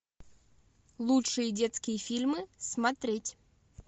лучшие детские фильмы смотреть